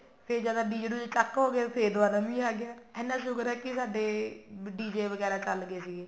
ਫੇਰ ਜਦ DJ ਦੂਜੇ ਚੱਕ ਹੋਗੇ ਫੇਰ ਦੁਬਾਰਾ ਮੀਂਹ ਆਗਿਆ ਇੰਨਾ ਸ਼ੁਕਰ ਹੈ ਵੀ ਸਾਡੇ DJ ਵਗੈਰਾ ਚੱਲ ਗਏ ਸੀਗੇ